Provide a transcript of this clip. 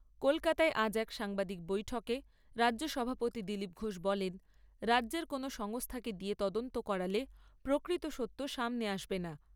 কলকাতায় আজ এক সাংবাদিক বৈঠকে রাজ্য সভাপতি দিলীপ ঘোষ বলেন, রাজ্যের কোনও সংস্থাকে দিয়ে তদন্ত করালে প্রকৃত সত্য সামনে আসবে না।